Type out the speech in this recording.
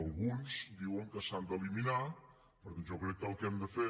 alguns diuen que s’han d’eliminar per tant jo crec que el que hem de fer